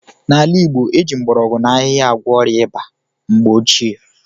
N'ala Igbo, e ji mgbọrọgwụ na ahịhịa agwọ ọrịa ịba mgbe ochie.